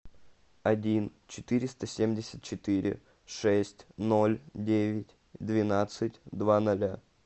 один четыреста семьдесят четыре шесть ноль девять двенадцать два ноля